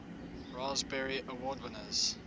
raspberry award winners